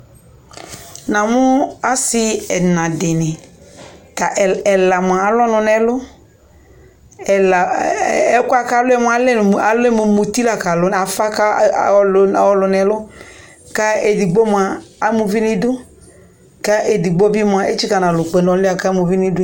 namo asi ɛna di ni ko ɛla moa alu ɔno no ɛlu ɛla ɛkoɛ ko alu lɛ mo muti la ko alu ko afa ko ɔlo no ɛlo ko edigbo moa ama uvi no idu ko edigbo bi moa etsika no alɔ kpe no ɔloɛ boa ko ama uvi no idu